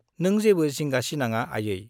नों जेबो जिंगा सिनांआ आयै।